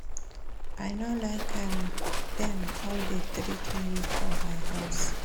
I no like how dem dey treat me for my house